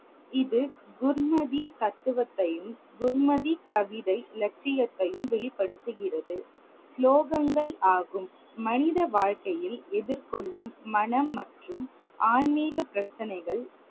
இது குர்மதி தத்துவத்தையும், குர்மதி கவிதை லட்சியத்தையும் வெளிப்படுத்துகிறது. ஸ்லோகங்கள் ஆகும். மனித வாழ்க்கையில் எதிர் கொள்ளும் மனம் மற்றும் ஆன்மிக பிரச்சினைகள்.